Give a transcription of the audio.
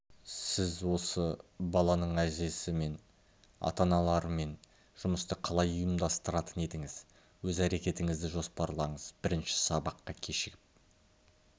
сіз осы баланың әжесі және ата-аналармен жұмысты қалай ұйымдастыратын едіңіз өз әрекетіңізді жоспарлаңыз бірінші сабаққа кешігіп